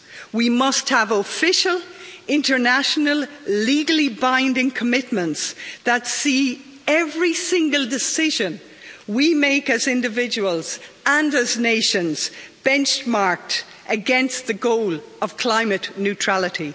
We must have official, international, legally-binding commitments that see every single decision we make as individuals and as nations benchmarked against the goal of climate neutrality.